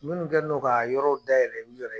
Minnu kɛnen n'o k'a yɔrɔw dayɛlɛ u yɛrɛ ye